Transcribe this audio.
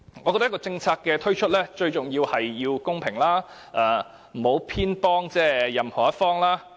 我認為一個政策的推出，最重要的便是公平，不應該偏幫任何一方。